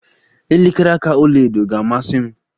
Elekere aka ọlaedo ga-amasi m